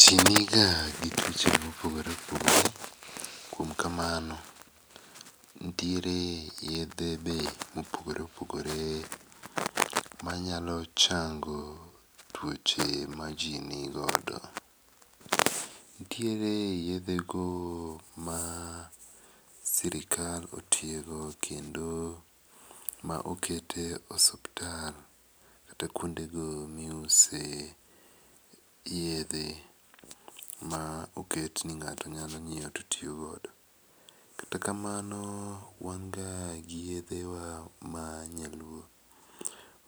Ji ni ga gi tuoch ma opogore opogore kuom kamano nitiere be yedhe ma opogore opogore ma nyalo chango tuoche ma ji ni godo. Nitiere yedhe go ma sirkal otiego kendo ma okete e osiptal kata kuonde go ma iuse yedhe ma oket ni ngato nyalo ngiewo to tiyo godo. Kata kamano wan ga gi yedhe wa ma nyaluo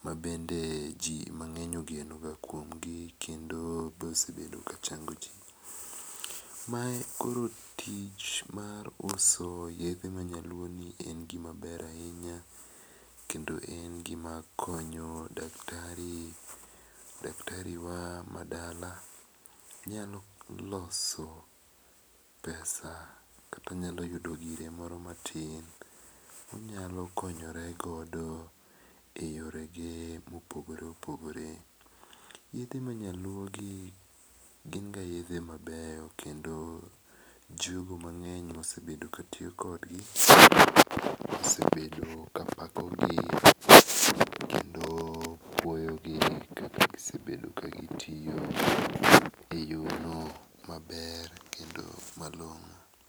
ma bende ji mangeny ogeno ga kuom ji keto osebedo ka chango ji. Ma koro tich mar uso yedhe ma nyaluo gi en gi ma ber ainya kendo en gi ma konyo daktari ,daktari ma dala. Nyalo loso pesa kata nyalo yudo gire moro ma tin ma onyalo konyore godo e yore ge ma opogore opogore. Yedhe mag nyaluo gin ga yedhe ma beyo kendo jogo mangeny ka tiyo kod gi osrbedo ka pako gi kendo puoyo gi kaka gisebdeo ka gi tiyo e yo no ma ber kendo ma longo.